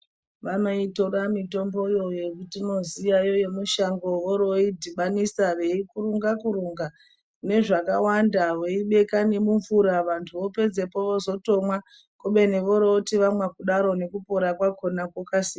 Vanoitora mitomboyo yetinoziyayo yemushango vorooidhibanisa, veikukurunga kurunga nezvakawanda veibeka nemumvura vantu vapedzapo vozotomwa kubeni voroti vamwa kudarokwo nekupora kwakhona kwokasira.